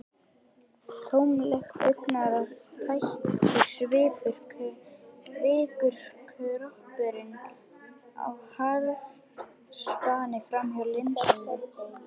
Tómlegt augnaráðið, tættur svipurinn- kvikur kroppurinn á harðaspani framhjá linsunni.